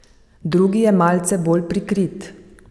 Drugi je malce bolj prikrit.